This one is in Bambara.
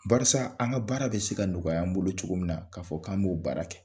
Barisa an ka baara bɛ se ka nɔgɔya an bolo cogo min na k'a fɔ k'an b'o baara kɛ